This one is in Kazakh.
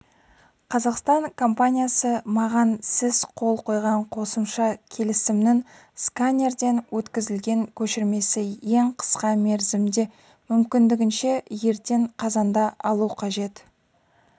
қазақстан компаниясы маған сіз қол қойған қосымша келісімнің сканерден өткізілген көшірмесі ең қысқа мерзімде мүмкіндікше ертең қазанда алу қажет